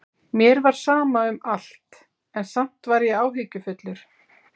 Mér var sama um allt, en samt var ég áhyggjufullur.